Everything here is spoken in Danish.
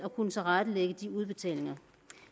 kunne tilrettelægge de udbetalinger